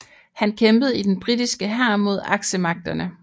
Han kæmpede i den britiske hær mod Aksemagterne